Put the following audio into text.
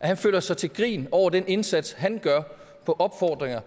at han føler sig til grin over den indsats han gør på opfordringer